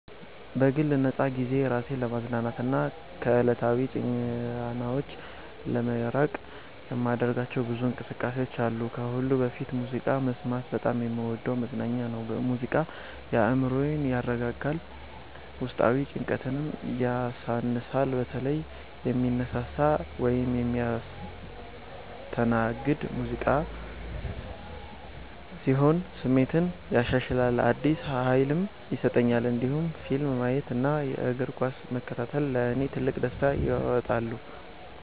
በግል ነፃ ጊዜዬ ራሴን ለማዝናናትና ከዕለታዊ ጫናዎች ለመራቅ የማደርጋቸው ብዙ እንቅስቃሴዎች አሉ። ከሁሉ በፊት ሙዚቃ መስማት በጣም የምወደው መዝናኛ ነው። ሙዚቃ አእምሮዬን ያረጋጋል፣ ውስጣዊ ጭንቀትንም ያሳንሳል። በተለይ የሚያነሳሳ ወይም የሚያስተናግድ ሙዚቃ ሲሆን ስሜቴን ያሻሽላል፣ አዲስ ኃይልም ይሰጠኛል። እንዲሁም ፊልም ማየት እና እግር ኳስ መከታተል ለእኔ ትልቅ ደስታ ያመጣሉ።